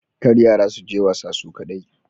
Kar yara suje wasa su kadai